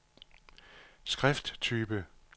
skrifttype